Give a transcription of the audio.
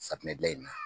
Safunɛ gilan in na